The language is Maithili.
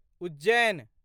उज्जैन